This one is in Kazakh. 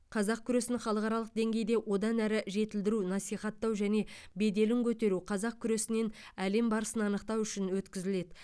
қазақ күресін халықаралық деңгейде одан әрі жетілдіру насихаттау және беделін көтеру қазақ күресінен әлем барысын анықтау үшін өткізіледі